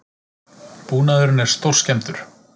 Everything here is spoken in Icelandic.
Búnaðurinn er stórskemmdur